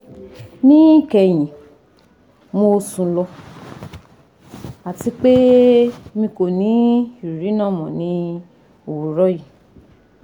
ni kehin mo sun lo ati pe mi ko ni iriri naa mọ ni owurọ yii